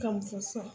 Kan fɔ sa